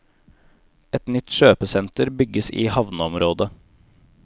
Et nytt kjøpesenter bygges i havneområdet.